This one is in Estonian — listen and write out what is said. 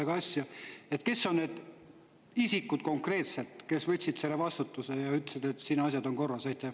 Kes on konkreetselt need isikud, kes võtsid selle vastutuse ja ütlesid, et asjad on korras?